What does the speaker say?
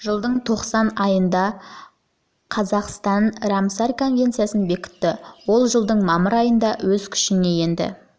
жылдың желтоқсан айында қазақстан рамсар конвенциясын бекітті ол жылдың мамыр айында өз күшіне енді